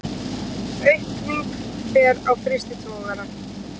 Aukning fer á frystitogara